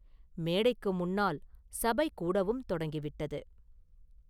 மேடைக்கு முன்னால் சபை கூடவும் தொடங்கி விட்டது.